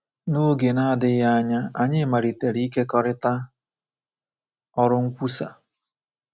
N’oge na-adịghị anya, anyị malitere ikekọrịta ọrụ nkwusa.